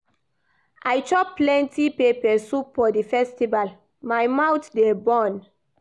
I chop plenty pepper soup for di festival, my mouth dey burn.